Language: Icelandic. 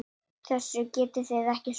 Þessu getið þið ekki svarað!